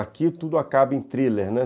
Aqui tudo acaba em thriller, né?